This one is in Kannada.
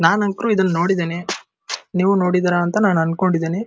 ನಾನ್ ಅಂತೂ ಇದನ್ನ ನೋಡಿದ್ದೀನಿ ನೀವು ನೋಡಿದ್ದೀರಾ ಅಂತ ನಾನು ಅಂದ್ಕೊಂಡಿದ್ದೀನಿ.